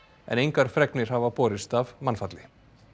en engar fregnir hafa borist af mannfalli